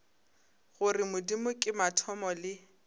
gore modimo ke mathomo le